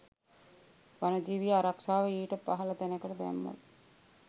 වනජීවී ආරක්‍ෂාව ඊට පහළ තැනකට දැම්මොත්